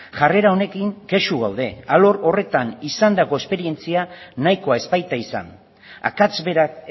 jarrera honekin kexu gaude alor horretan izandako esperientzia nahikoa ez baita izan akats berak